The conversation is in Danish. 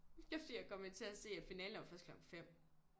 Det er fordi jeg er kommet til at se at finalen det er jo først klokken 5